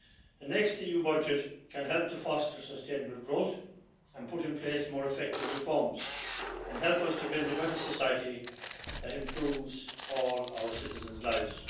The next EU budget can help to foster sustainable growth, put in place more effective reforms and help us to build a better society that improves all our citizens' lives.